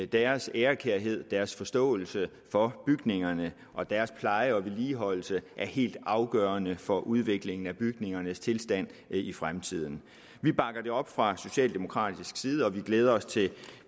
deres ærekærhed deres forståelse for bygningerne og deres pleje og vedligeholdelse er helt afgørende for udviklingen af bygningernes tilstand i fremtiden vi bakker det op fra socialdemokratisk side og vi glæder os til